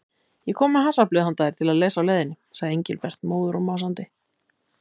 Ég kom með hasarblöð handa þér að lesa á leiðinni sagði Engilbert móður og másandi.